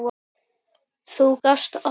Þú gast allt.